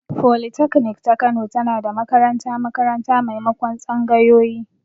Folitaknik ta Kano tana da makaranta-makaranta maimakon tsangayoyi.